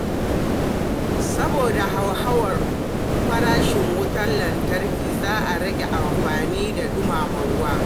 Saboda hauhawar farashin wutar lantarki, za a rage amfani da dumama ruwa.